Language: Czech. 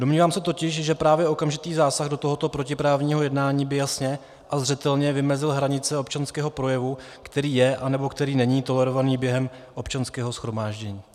Domnívám se totiž, že právě okamžitý zásah do tohoto protiprávního jednání by jasně a zřetelně vymezil hranice občanského projevu, který je anebo který není tolerovaný během občanského shromáždění.